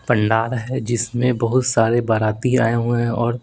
पंडार है जिसमें बहुत सारे बाराती आए हुए हैं और--